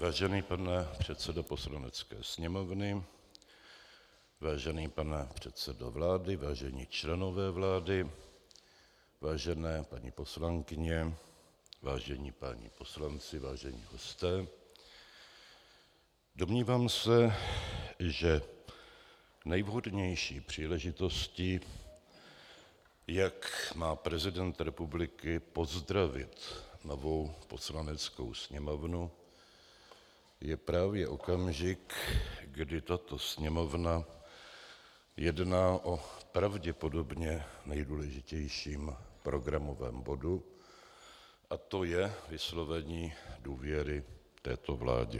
Vážený pane předsedo Poslanecké sněmovny, vážený pane předsedo vlády, vážení členové vlády, vážené paní poslankyně, vážení páni poslanci, vážení hosté, domnívám se, že nejvhodnější příležitostí, jak má prezident republiky pozdravit novou Poslaneckou sněmovnu, je právě okamžik, kdy tato Sněmovna jedná o pravděpodobně nejdůležitějším programovém bodu a to je vyslovení důvěry této vládě.